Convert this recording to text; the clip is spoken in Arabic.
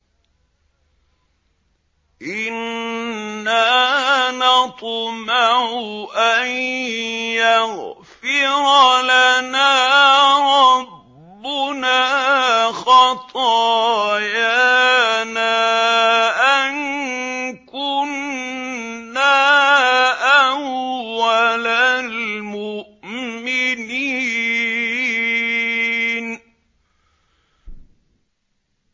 إِنَّا نَطْمَعُ أَن يَغْفِرَ لَنَا رَبُّنَا خَطَايَانَا أَن كُنَّا أَوَّلَ الْمُؤْمِنِينَ